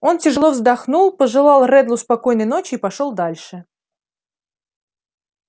он тяжело вздохнул пожелал реддлу спокойной ночи и пошёл дальше